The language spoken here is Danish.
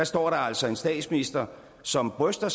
står der altså en statsminister som bryster